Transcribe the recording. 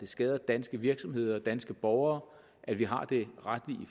skader danske virksomheder og danske borgere at vi har det retlige